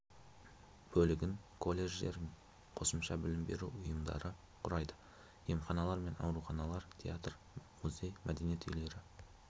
бөлігін колледждер қосымша білім беру ұйымдары құрайды емханалар мен ауруханалар театр музей мәдениет үйлері